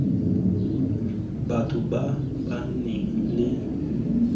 batho ba ba nang le